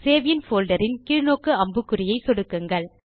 save in folder ன் கீழ் நோக்கு அம்புக்குறியை சொடுக்குங்கள்